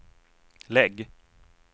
lägg